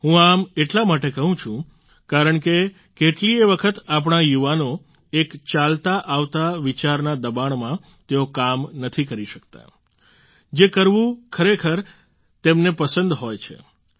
હું આમ એટલા માટે કહું છું કારણ કે કેટલીયે વખત આપણા યુવાનો એક ચાલતા આવતા વિચારના દબાણમાં તેઓ કામ નથી કરી શકતા જે કરવું ખરેખર તેમને પસંદ હોય છે